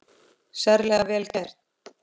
Sérlega vel gert.